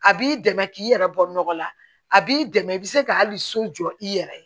A b'i dɛmɛ k'i yɛrɛ bɔ nɔgɔ la a b'i dɛmɛ i bɛ se ka hali so jɔ i yɛrɛ ye